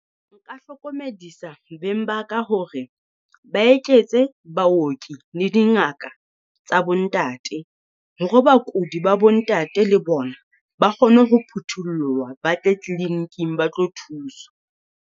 Nka hlokomedisa beng baka hore ba eketse baoki le dingaka tsa bo ntate. Hore bakudi ba bo ntate le bona ba kgone ho phuthollowa, ba tle clinic-ing ba tlo thuswa.